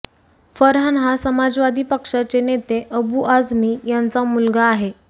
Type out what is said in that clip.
फरहान हा समाजवादी पक्षाचे नेते अबु आझमी यांचा मुलगा आहे